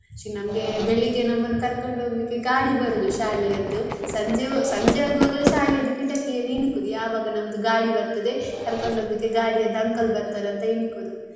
ಶೀ ನಮ್ಗೆ ಬೆಳ್ಳಿಗ್ಗೆ ನಮ್ಮನ್ನು ಕರ್ಕೊಂಡು ಹೋಗ್ಲಿಕ್ಕೆ ಗಾಡಿ ಬರುದು ಶಾಲೆಯದ್ದು ಸಂಜೆ ಸಂಜೆಯಾಗುವಾಗ ಶಾಲೆದ್ದು ಕಿಟಕಿಯಲ್ಲಿ ಇಣುಕುದು ಯಾವಾಗ ನಮ್ದು ಗಾಡಿ ಬರ್ತದೆ ಕರ್ಕೊಂಡು ಹೋಗ್ಲಿಕ್ಕೆ ಗಾಡಿದ್ದು uncle ಬರ್ತಾರ ಅಂತ ಇಣುಕುದು.